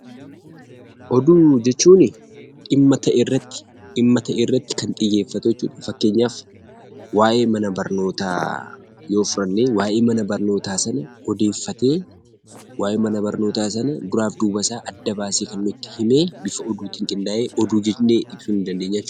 Oduu jechuun, dhimma ta'e irratti xiyyeeffatee kan hojjetu fakkeenyaaf waa'ee mana barnootaa yoo fudhannee, waa'ee mana barnootaa sana bu'uureffatee waa'ee mana barnootaa sana duraa duuba isaa adda baasee kan nutti himee bifa oduutiin qindaa'e oduu jennee dubbisu ni dandeenya jechuudha.